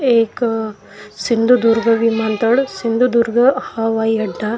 एक सिंधुदुर्ग विमानतळ सिंधुदुर्ग हवाई अड्डा --